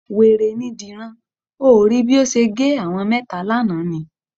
Wèrè ni Dìran. O ò rí bí ó ṣe gé àwọn mẹ́ta lánàá ni?